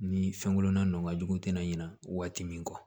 Ni fɛnkolonna n'a ka jugu tɛna ɲina waati min kɔ